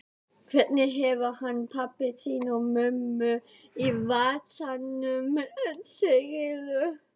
Hvernig hefur hann pabba sinn og mömmu í vasanum, segirðu?